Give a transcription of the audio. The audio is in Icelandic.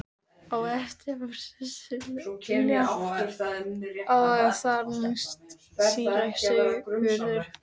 Á eftir fór Sesselja og þar næst síra Sigurður.